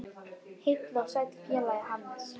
Heill og sæll félagi Hannes!